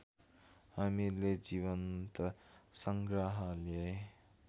हामीले जीवन्त सङ्ग्रहालय